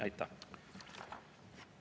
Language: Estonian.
Aitäh!